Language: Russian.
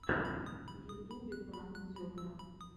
в ютубе пранк зебра